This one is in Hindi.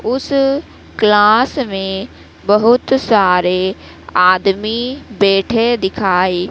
उस क्लास में बहुत सारे आदमी बैठे दिखाई--